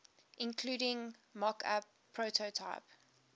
including mockup prototype